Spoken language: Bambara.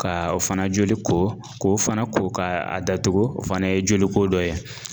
Ka o fana joli ko, k'o fana ko ka a datugu o fana ye joliko dɔ ye.